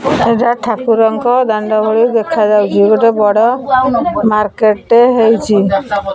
ଏଟା ଠାକୁରଙ୍କ ଦାଣ୍ଡ ଭଳି ଦେଖା ଯାଉଚି ଗୋଟେ ବଡ଼ ମାର୍କେଟ୍ ଟେ ହେଇଚି।